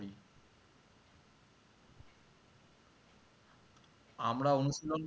আমরা অনুশীলন